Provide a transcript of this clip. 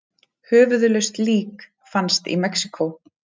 Höfuðlaust lík fannst í Mexíkó